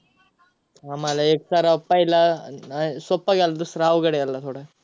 आम्हाला एक सर्वात पहिला अं नाही सोपा गेला दूसरा अवघड गेला थोडा.